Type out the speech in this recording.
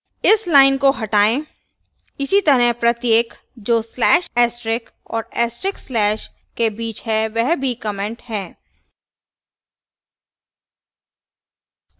इस line को हटाएँ इसी तरह प्रत्येक जो slash astrix और astrix slash के बीच है वह भी comment है